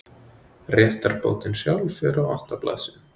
réttarbótin sjálf er á átta blaðsíðum